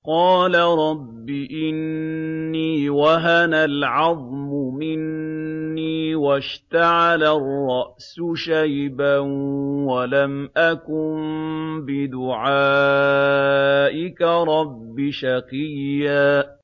قَالَ رَبِّ إِنِّي وَهَنَ الْعَظْمُ مِنِّي وَاشْتَعَلَ الرَّأْسُ شَيْبًا وَلَمْ أَكُن بِدُعَائِكَ رَبِّ شَقِيًّا